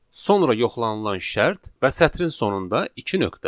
sonra yoxlanılan şərt və sətrin sonunda iki nöqtə.